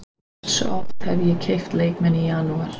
Hversu oft hef ég keypt leikmenn í janúar?